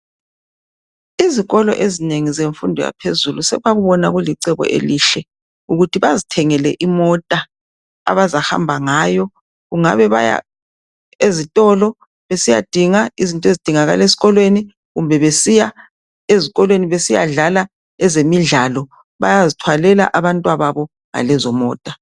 Izikolo ezinengi zemfundo yaphezulu sebabona kulicebo elihle ukuthi bazithengele imota abazahamba ngayo kungabe baya ezitolo besiyadinga izinto ezidingakala esikolweni kumbe besiya ezikolweni besiyadlala ezemidlalo Bayazithwalela abantwababo ngalezo mota